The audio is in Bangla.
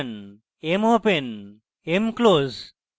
mopen mclose